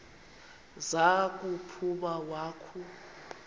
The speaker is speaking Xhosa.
za kuphuma wakhu